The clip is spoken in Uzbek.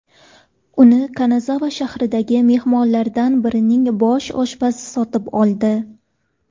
Uni Kanazava shahridagi mehmonxonalardan birining bosh oshpazi sotib oldi.